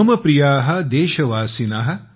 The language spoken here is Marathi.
मम प्रिया देशवासिन